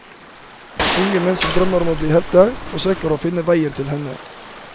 Unge menn som drømmer om å bli helter, forsøker å finne veien til henne.